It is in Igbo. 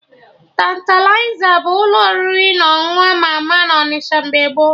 Tantalizer bụ ụlọ oriri na ọṅụṅụ ama ama na Onịsha mgbe gboo